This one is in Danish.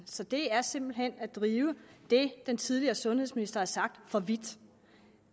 så det er simpelt hen at drive det den tidligere sundhedsminister har sagt for vidt